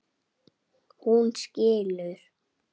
Hún skilur.